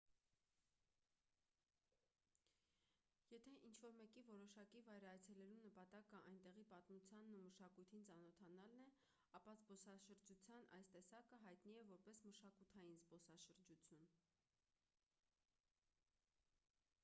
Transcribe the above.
եթե ինչ-որ մեկի որոշակի վայր այցելելու նպատակը այնտեղի պատմությանն ու մշակույթին ծանոթանալն է ապա զբոսաշրջության այս տեսակը հայտնի է որպես մշակութային զբոսաշրջություն